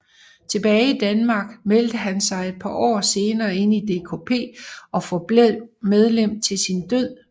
Tilbage i Danmark meldte han sig et par år senere ind i DKP og forblev medlem til sin død